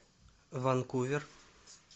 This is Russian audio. ванкувер